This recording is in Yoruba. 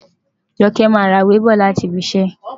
Joke máa ra ìwé bọ̀ láti ibi iṣẹ́.